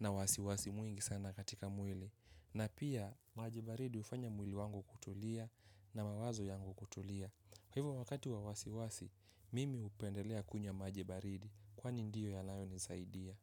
na wasiwasi mwingi sana katika mwili. Na pia, maji baridi hufanya mwili wangu kutulia na mawazo yangu kutulia. Kwa hivyo wakati wa wasiwasi, mimi hupendelea kunywa maji baridi. Kwani ndio yanayonisaidia.